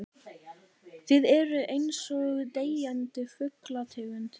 Þið eruð einsog deyjandi fuglategund.